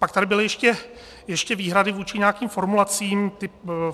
Pak tady byly ještě výhrady vůči nějakým formulacím.